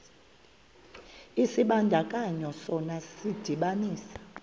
isibandakanyi sona sidibanisa